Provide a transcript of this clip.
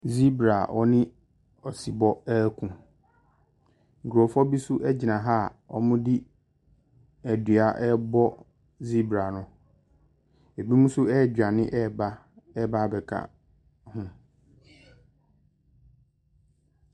Zibra a ɔne ɔsebɔ reko. Nkrɔfoɔ bi so gyina wɔde dua rebɔ zibra no. Ebinom nso redwane reba, reba abeka ho.